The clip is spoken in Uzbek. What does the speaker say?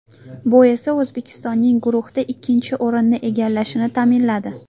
Bu esa O‘zbekistonning guruhda ikkinchi o‘rinni egallashini ta’minladi.